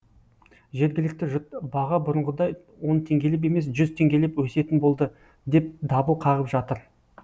жергілікті жұрт баға бұрынғыдай он теңгелеп емес жүз теңгелеп өсетін болды деп дабыл қағып жатыр